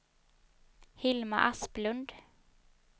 Hilma Asplund